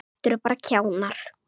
Þetta eru bara kjánar.